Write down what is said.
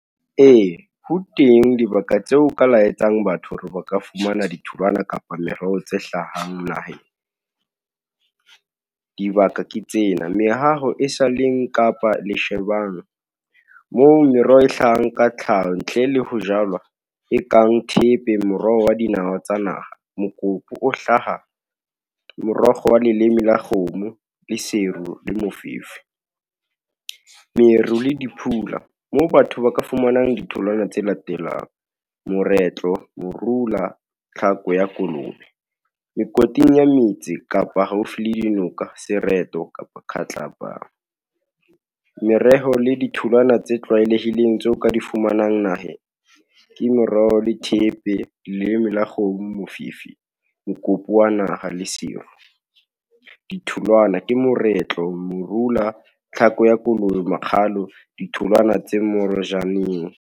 Ee, ho teng dibaka tseo o ka laetsang batho hore ba ka fumana ditholwana kapa meroho tse hlahang naheng, dibaka ke tsena, mehaho e saleng kapa le , moo meroho e hlahang ka tlhaho ntle le ho jalwa, e kang thepeng, moroho wa dinawa tsa naha, mokopu o hlaha morokgo wa leleme la kgomo, le seru le mofifi. Meru le di phula moo batho ba ka fumanang ditholwana tse latelang, moretlo, morula, tlhako ya kolobe, mekoting ya metse kapa haufi le dinoka, sereto kapa kgatlapa. Mereho le ditholwana tse tlwaelehileng, tse o ka di fumanang naheng, ke moroho le thepe, leleme la kgomo, mofifi, mokopu wa naha, le seru. Ditholwana ke moretlo, morula, tlhako ya kolobe, makgalo, ditholwana tse morejaneng.